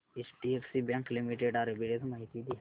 HDFC bank limited arbitrage माहिती दे